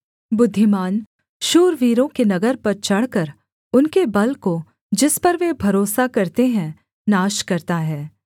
बुद्धिमान शूरवीरों के नगर पर चढ़कर उनके बल को जिस पर वे भरोसा करते हैं नाश करता है